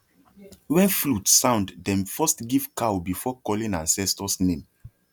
when flute sound dem first give cow before calling ancestors name